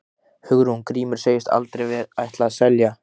Hugrún: Grímur segist aldrei ætla að selja?